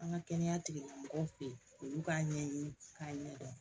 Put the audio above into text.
An ka kɛnɛya tigilamɔgɔw fɛ yen olu k'a ɲɛɲini k'a ɲɛdɔn